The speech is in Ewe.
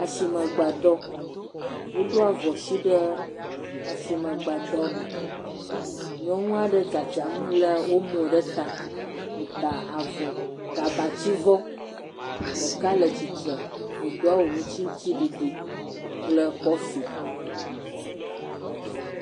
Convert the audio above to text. Asimegbadɔ, woɖo avɔsi ɖe asimegbadɔ me. Nyɔnu aɖe tsatsam lé omo ɖe ta, wota avɔ, gabatsivɔ ɖeka le tsitre wodo awu aŋutiɖiɖi kple kɔfi.